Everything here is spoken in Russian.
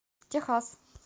техас